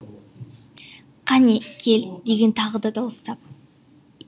кәне кел деген тағы да дауыстап